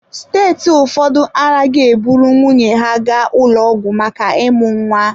Steeti ụfọdụ anaghị eburu nwunye ha gaa ụlọ ọgwụ maka ịmụ nwa.